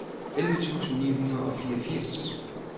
elleve tusind ni hundrede og fireogfirs